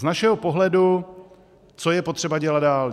Z našeho pohledu co je potřeba dělat dál.